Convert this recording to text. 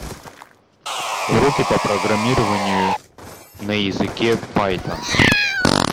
уроки по программированию на языке пайтон